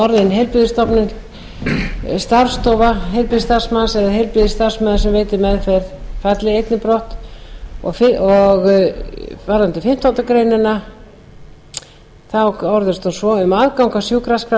orðin heilbrigðisstofnun starfsstofa heilbrigðisstarfsmanns eða heilbrigðisstarfsmaður sem veitir meðferð í annarri málsgrein falli brott fimmta við fimmtándu grein greinin orðist svo um aðgang að sjúkraskrá